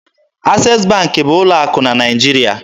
Access Bank bụ ụlọ akụ na Naịjirịa.